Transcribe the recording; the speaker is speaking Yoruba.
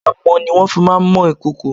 Amọ̀ ni wọ́n fi má ń mọ ìkòkò.